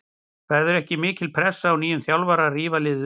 Verður ekki mikil pressa á nýjum þjálfara að rífa liðið upp?